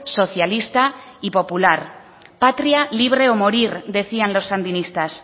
socialista y popular patria libre o morir decían los sandinistas